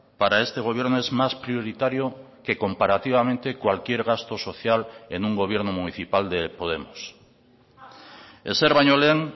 para este gobierno es más prioritario que comparativamente cualquier gasto social en un gobierno municipal de podemos ezer baino lehen